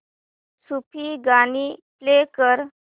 सूफी गाणी प्ले कर